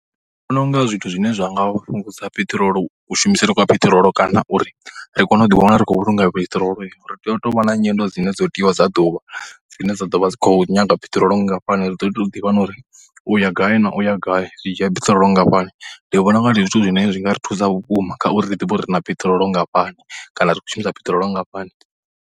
Ndi vhona u nga zwithu zwine zwi nga fhungudza peṱirolo, kushumisele kwa peṱirolo kana uri ri kone u ḓiwana ri khou vhulunga peṱirolori ri tea u tou vha na nyendo dzine dzo tiwa dza ḓuvha dzine dza ḓo vha dzi tshi khou nyanga peṱirolo nngafhani. Ri ḓo tea u ḓivha na uri u ya gai na u ya gai zwi dzhia peṱirolo nngafhani. Ndi vhona u nga zwithu zwine zwi nga ri thusa uri vhukuma kha uri ri ḓivhe uri ri na peṱirolo nngafhani kana ri khou shumisa peṱirolo nngafhani.